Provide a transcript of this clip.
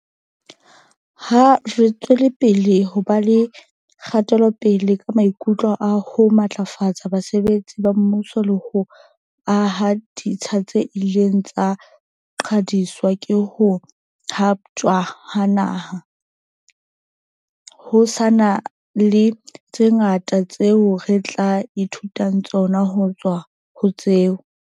Ha re tswelapele ho ba le kgatelopele ka maiteko a ho matlafatsa basebetsi ba mmuso le ho aha ditsha tse ileng tsa qhwadiswa ke ho haptjwa ha naha, ho sa na le tse ngata tseo re tla e thutang tsona ho tswa ho tseo